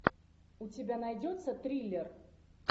у тебя найдется триллер